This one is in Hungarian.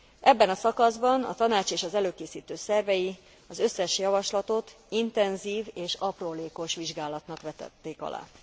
Ebben a szakaszban a Tanács és az előkészítő szervei az összes javaslatot intenzív és aprólékos vizsgálatnak vetették alá.